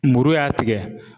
Muru y'a tigɛ